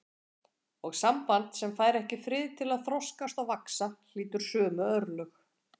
Og samband sem fær ekki frið til að þroskast og vaxa hlýtur sömu örlög.